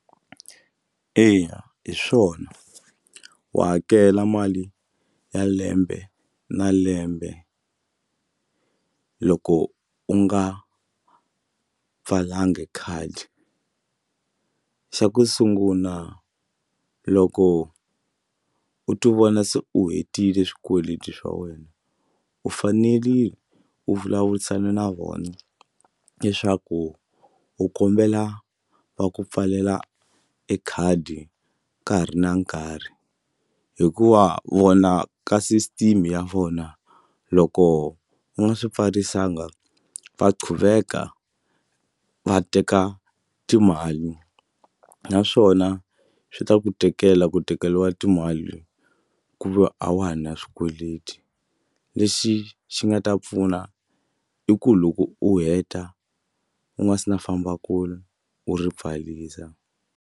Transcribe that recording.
Eya hi swona wa hakela mali ya lembe na lembe loko u nga pfalanga khadi. Xa ku sungula loko u tivona se u hetile swikweleti swa wena u fanerile u vulavurisana na vona u leswaku u kombela va ku pfalela e khadi ka ha ri na nkarhi hikuva vona ka system ya vona loko u nga swi pfarisanga va qhuveka va teka timali naswona swi ta ku tikela ku tekeriwa timali ku ve a wa ha na swikweleti lexi xi nga ta pfuna i ku loko u heta u nga se na famba kule u ri pfarisa.